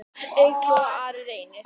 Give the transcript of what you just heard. Eygló og Ari Reynir.